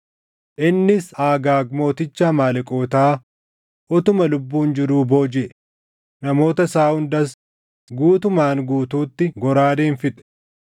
Innis Agaag mooticha Amaaleqootaa utuma lubbuun jiruu boojiʼe; namoota isaa hundas guutumaan guutuutti goraadeen fixe.